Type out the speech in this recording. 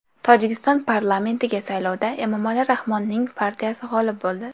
Tojikiston parlamentiga saylovda Emomali Rahmonning partiyasi g‘olib bo‘ldi.